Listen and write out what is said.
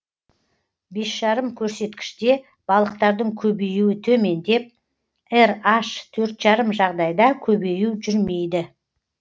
бес жарым көрсеткіште балықтардың көбеюі төмендеп раш төрт жарым жағдайда көбею жүрмейді